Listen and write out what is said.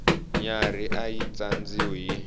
nyarhi a yi tsandziwi hi